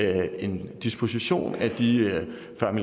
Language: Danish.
er en lang